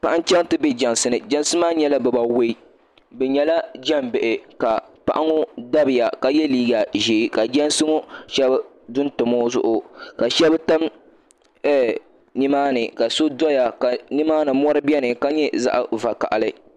paɣa n-chaŋ n-ti be jɛnsi ni jɛnsi maa nyɛla bibawei bɛ nyɛla jɛn' bihi ka paɣa ŋɔ dabiya ka ye liiga ʒee ka jɛnsi ŋɔ shɛba do n-tam o zuɣu ka shɛba tam ɛɛh ni maani ka so dɔya ka ni maani mɔri beni ka nyɛ zaɣ' vakahili